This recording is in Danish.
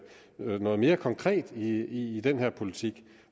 noget mere konkret i den her politik